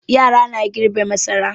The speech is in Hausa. Yara na girbe masara.